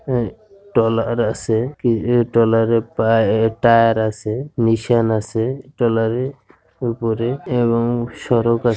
হু টলার । কি ই টলারে পায়ে টায়ার আছে নিশন আছে টলারে উপরে এবং সড়ক আ--